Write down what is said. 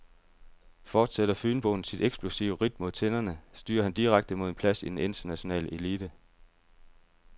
Fortsætter fynboen sit eksplosive ridt mod tinderne, styrer han direkte mod en plads i den internationale elite.